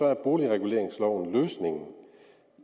er boligreguleringsloven løsningen